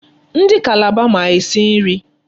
Ndị Calabar ma esi nri.